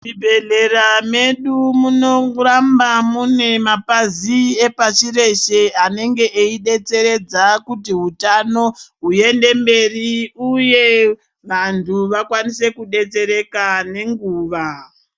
Muzvibhedhlera medu munoramba mune mapazi epashi reshe anenge aibetseredza kuti hutano huende mberi, uye vantu vakwanise kubetsereka nenguva.